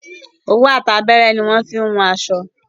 Òwú àti abẹ́rẹ́ ni won n fi wun aṣọ